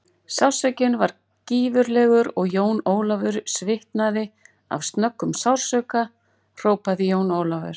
Sársaukinn var gífurlegur og Jón Ólafur svitnaði af snöggum sársauka hrópaði Jón Ólafur.